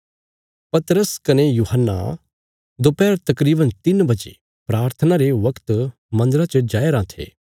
पतरस कने यूहन्ना दोपैहर तकरीवन तिन्न बजे प्राथना रे वगत मन्दरा च जाया राँ थे